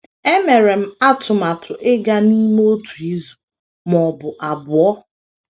Emere m atụmatụ ịga n’ime otu izu ma ọ bụ abụọ.